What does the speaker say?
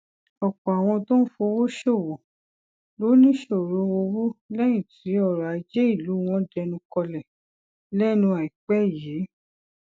òpò àwọn tó ń fowó ṣòwò ló níṣòro owó léyìn tí ọrò ajé ìlú wọn dẹnu kọlè lénu àìpé yìí